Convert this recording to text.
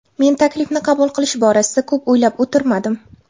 Men taklifni qabul qilish borasida ko‘p o‘ylab o‘tirmadim.